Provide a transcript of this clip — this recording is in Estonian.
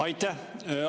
Aitäh!